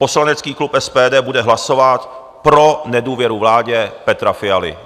Poslanecký klub SPD bude hlasovat pro nedůvěru vládě Petra Fialy.